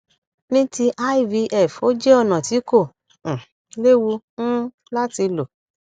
ní ti ivf ó jẹ ọnà tí kò um léwu um láti lò